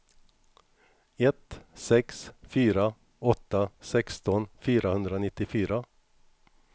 ett sex fyra åtta sexton fyrahundranittiofyra